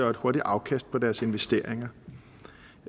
og et hurtigt afkast på deres investeringer